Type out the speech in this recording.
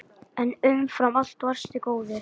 En umfram allt varstu góður.